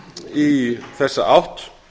í þessa átt